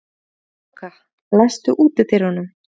Kráka, læstu útidyrunum.